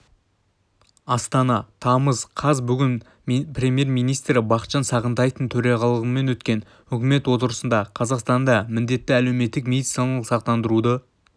астана тамыз қаз бүгін премьер-министрі бақытжан сағынтаевтың төрағалығымен өткен үкімет отырысында қазақстанда міндетті әлеуметтік медициналық сақтандыруды